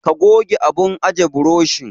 Ka goge abun ajiye burushin.